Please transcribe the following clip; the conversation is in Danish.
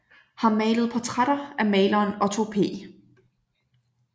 Har malet portrætter af maleren Otto P